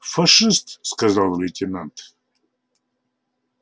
фашист сказал лейтенант